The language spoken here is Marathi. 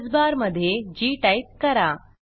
एड्रेस बार मधे जी टाईप करा